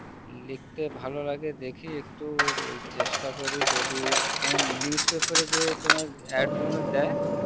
লিখতে ভালো লাগে দেখি একটু ওই চেষ্ঠা করি যদি তোমার news পাপের এ যে তোমার ad গুলো দেয়